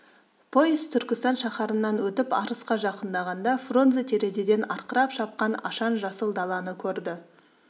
пойыз түркістан шаһарынан өтіп арысқа жақындағанда фрунзе терезеден арқырап шапқан ашаң жасыл даланы көрді